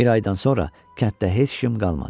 Bir aydan sonra kənddə heç kim qalmadı.